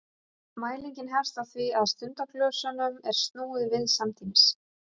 mælingin hefst á því að stundaglösunum er snúið við samtímis